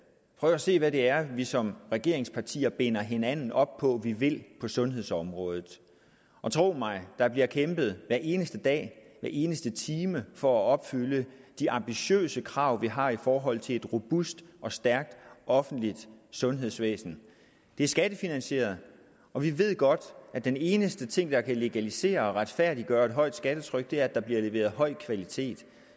prøv at se hvad det er vi som regeringspartier binder hinanden op på at vi vil på sundhedsområdet og tro mig der bliver kæmpet hver eneste dag hver eneste time for at opfylde de ambitiøse krav vi har i forhold til et robust og stærkt offentligt sundhedsvæsen det er skattefinansieret og vi ved godt at den eneste ting der kan legalisere og retfærdiggøre et højt skattetryk er at der bliver leveret høj kvalitet